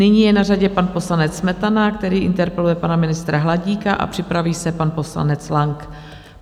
Nyní je na řadě pan poslanec Smetana, který interpeluje pana ministra Hladíka, a připraví se pan poslanec Lang.